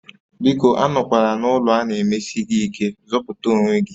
Biko anọkwala n'ụlọ a na-emeshi gị ike, zọpụta onwe gị